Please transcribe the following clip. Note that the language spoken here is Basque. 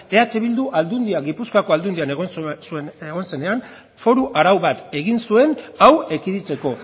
eh bildu aldundian gipuzkoako aldundian egon zenean foru arau bat egin zuen hau ekiditeko